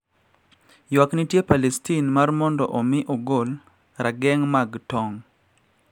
Ywak nitie Palestin mar mondo omi ogol rageng` mag tong`